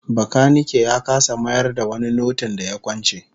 Bakanike ya kasa mayar da wani notin da ya kwance